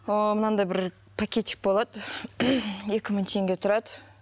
ыыы мынандай бір пакетик болады екі мың теңге тұрады